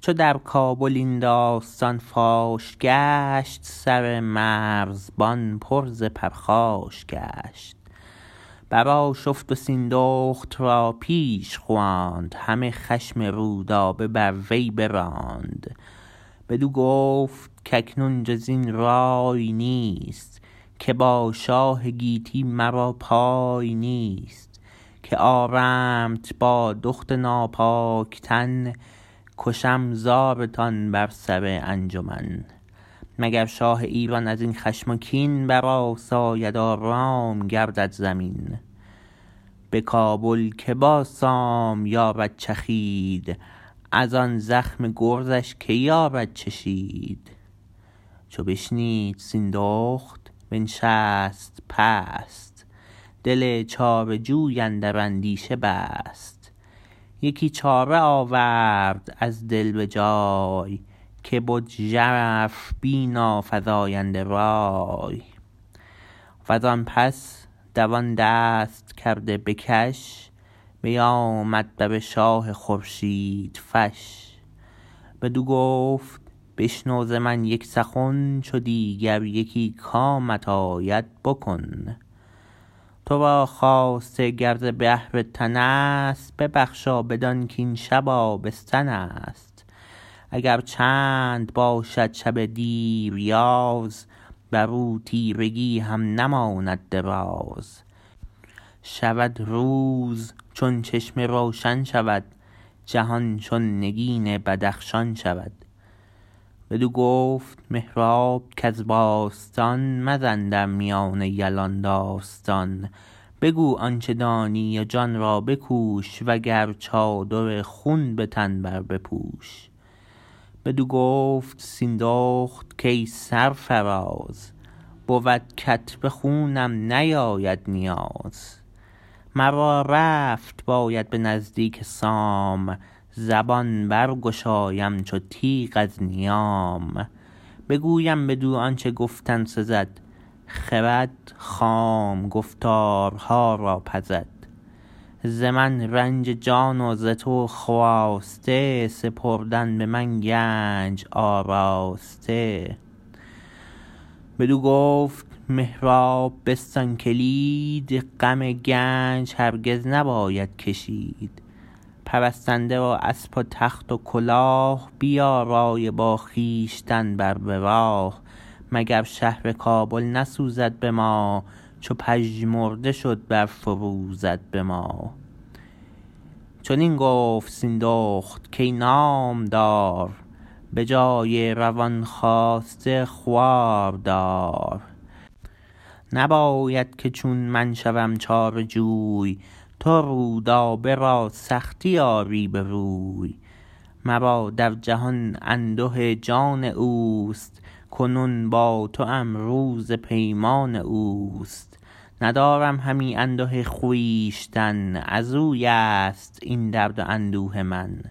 چو در کابل این داستان فاش گشت سر مرزبان پر ز پرخاش گشت برآشفت و سیندخت را پیش خواند همه خشم رودابه بر وی براند بدو گفت کاکنون جزین رای نیست که با شاه گیتی مرا پای نیست که آرمت با دخت ناپاک تن کشم زارتان بر سر انجمن مگر شاه ایران ازین خشم و کین برآساید و رام گردد زمین به کابل که با سام یارد چخید ازان زخم گرزش که یارد چشید چو بشنید سیندخت بنشست پست دل چاره جوی اندر اندیشه بست یکی چاره آورد از دل به جای که بد ژرف بین و فزاینده رای وزان پس دوان دست کرده به کش بیامد بر شاه خورشید فش بدو گفت بشنو ز من یک سخن چو دیگر یکی کامت آید بکن ترا خواسته گر ز بهر تنست ببخش و بدان کین شب آبستنست اگر چند باشد شب دیریاز برو تیرگی هم نماند دراز شود روز چون چشمه روشن شود جهان چون نگین بدخشان شود بدو گفت مهراب کز باستان مزن در میان یلان داستان بگو آنچه دانی و جان را بکوش وگر چادر خون به تن بر بپوش بدو گفت سیندخت کای سرفراز بود کت به خونم نیاید نیاز مرا رفت باید به نزدیک سام زبان برگشایم چو تیغ از نیام بگویم بدو آنچه گفتن سزد خرد خام گفتارها را پزد ز من رنج جان و ز تو خواسته سپردن به من گنج آراسته بدو گفت مهراب بستان کلید غم گنج هرگز نباید کشید پرستنده و اسپ و تخت و کلاه بیارای و با خویشتن بر به راه مگر شهر کابل نسوزد به ما چو پژمرده شد برفروزد به ما چنین گفت سیندخت کای نامدار به جای روان خواسته خواردار نباید که چون من شوم چاره جوی تو رودابه را سختی آری به روی مرا در جهان انده جان اوست کنون با توم روز پیمان اوست ندارم همی انده خویشتن ازویست این درد و اندوه من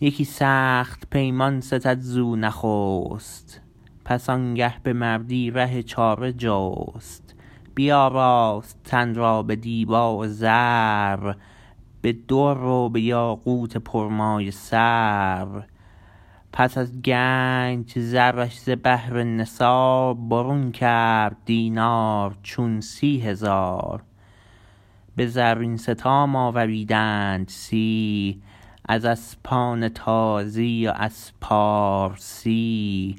یکی سخت پیمان ستد زو نخست پس آنگه به مردی ره چاره جست بیاراست تن را به دیبا و زر به در و به یاقوت پرمایه سر پس از گنج زرش ز بهر نثار برون کرد دینار چون سی هزار به زرین ستام آوریدند سی از اسپان تازی و از پارسی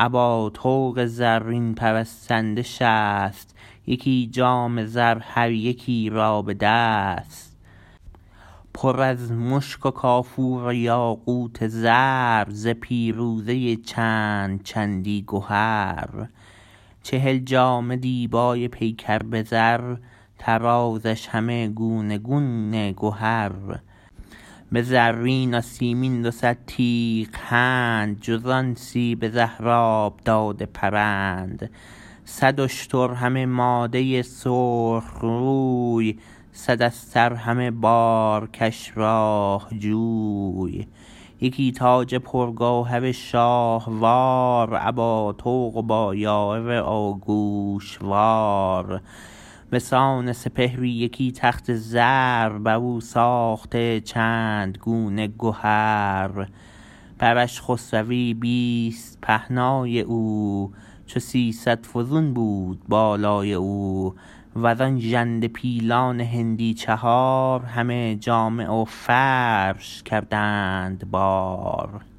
ابا طوق زرین پرستنده شست یکی جام زر هر یکی را به دست پر از مشک و کافور و یاقوت و زر ز پیروزه چند چندی گهر چهل جامه دیبای پیکر به زر طرازش همه گونه گونه گهر به زرین و سیمین دوصد تیغ هند جزان سی به زهراب داده پرند صد اشتر همه ماده سرخ موی صد استر همه بارکش راه جوی یکی تاج پرگوهر شاهوار ابا طوق و با یاره و گوشوار بسان سپهری یکی تخت زر برو ساخته چند گونه گهر برش خسروی بیست پهنای او چو سیصد فزون بود بالای او وزان ژنده پیلان هندی چهار همه جامه و فرش کردند بار